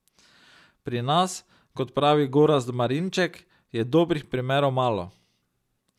Pri nas, kot pravi Gorazd Marinček, je dobrih primerov malo.